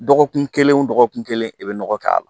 Dɔgɔkun kelen o dɔgɔkun kelen i bɛ nɔgɔ k'a la